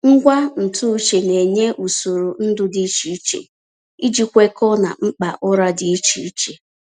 Ngwa ntụ uche na-enye usoro ndu dị iche iche iji kwekọọ na mkpa ụra dị iche iche.